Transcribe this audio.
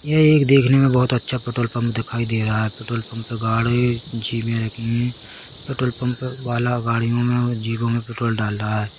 यह एक देखने में बहुत अच्छा पेट्रोल पंप दिखाई दे रहा है पेट्रोल पंप गाड़ी पेट्रोल पंप वाला गाड़ियों में जीपों में पेट्रोल डाल रहा है।